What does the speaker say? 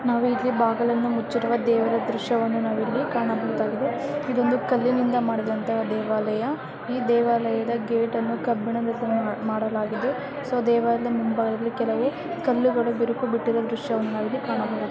ನಾವಿಲ್ಲಿ ಬಾಗಲನ್ನು ಮುಚ್ಚಿರುವ ದೇವರ ದೃಶ್ಯವನ್ನ ನಾವಿಲ್ಲಿ ಕಾಣಬಹುದಾಗಿದೆ. ಈದ್ ಒಂದ್ ಕಲ್ಲಿನಿಂದ ಮಾಡಿದಂತ ದೇವಾಲಯ ಈ ದೇವಾಲಯದ ಗೇಟ್ ಅನ್ನು ಕಬ್ಬಿಣದ ಮಾಡಲಾಗಿದು ಸೊ ದೇವಾಲಯದ ಮುಂಭಾಗದಲ್ಲಿ ಕೆಲವು ಕಲ್ಲುಗಳು ಬಿರುಕು ಬಿಟ್ಟುರುವ ದೃಶ್ಯವನ್ನು ನಾವಿಲ್ಲಿ ಕಾಣಬಹುದು.